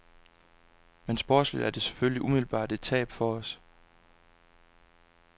Men sportsligt er det selvfølgelig umiddelbart et tab for os.